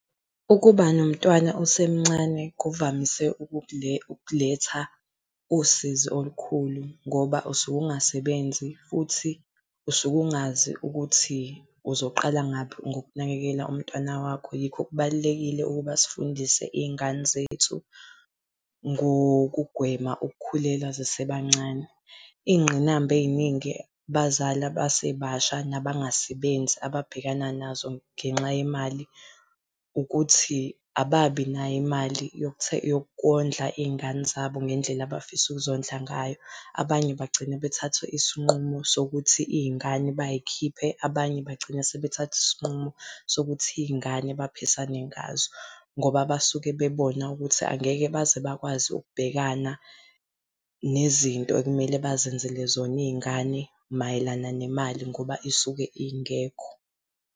Ukuba nomntwana osemncane kuvamise ukuletha usizi olukhulu ngoba usuke ungasebenzi futhi usuke ungazi ukuthi uzoqala ngaphi ngokunakela umntwana wakho. Yikho kubalulekile ukuba sifundise iy'ngane zethu ngokugwema ukukhulelwa zisebancane. Iy'ngqinamba ey'ningi abazali abasebasha nabangasebenzi ababhekana nazo ngenxa yemali, ukuthi ababi nayo imali yokondla iy'ngane zabo ngendlela abafisa ukuzodla ngayo. Abanye bagcina bethathe isinqumo sokuthi iy'ngane bay'khiphe, abanye bagcina sebethathe isinqumo sokuthi iy'ngane baphisane ngazo, ngoba basuke bebona ukuthi angeke baze bakwazi ukubhekana nezinto ekumele bazenzele zona iy'ngane mayelana nemali ngoba isuke ingekho.